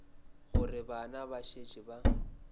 gore bana ba šetše ba